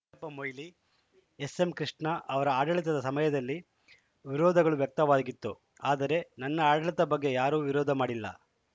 ಪ್ಪ ಮೊಯ್ಲಿ ಎಸ್‌ಎಂ ಕೃಷ್ಣ ಅವರ ಆಡಳಿತದ ಸಮಯದಲ್ಲಿ ವಿರೋಧಗಳು ವ್ಯಕ್ತವಾಗಿತ್ತು ಆದರೆ ನನ್ನ ಆಡಳಿತದ ಬಗ್ಗೆ ಯಾರೂ ವಿರೋಧ ಮಾಡಿಲ್ಲ